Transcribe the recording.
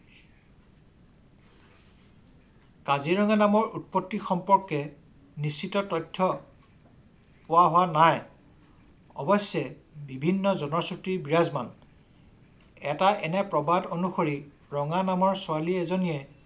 কাজিৰঙা নামৰ উৎপত্তি সম্পৰ্কে নিশ্চিত তথ্য পোৱা হোৱা নাই। অৱশ্যে বিভিন্ন জনশ্ৰুতি বিৰাজমান। এটা এনে প্ৰবাদ অনুসৰি ৰঙা নামৰ ছোৱালী এজনীয়ে